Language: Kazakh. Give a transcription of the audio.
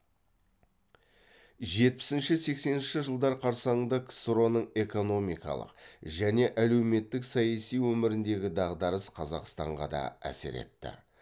жетпісінші сексенінші жылдар қарсаңында ксро ның экономикалық және әлеуметтік саяси өміріндегі дағдарыс қазақстанға да әсер етті